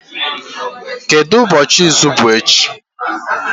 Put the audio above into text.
Kedu ụbọọchi izu bụ echi?